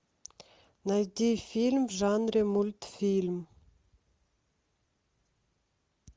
найти фильм в жанре мультфильм